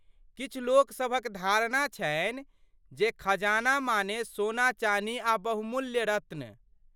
किछु लोकसभक धारणा छनि जे खजाना माने सोना चानी आ बहुमूल्य रत्न।